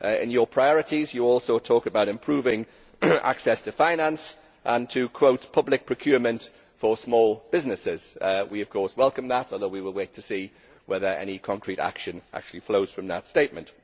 In your priorities, you also talk about improving access to finance and, to quote, public procurement for small businesses'. We, of course, welcome that although we will wait to see whether any concrete action actually flows from that statement.